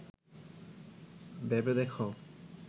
ভেবে দেখ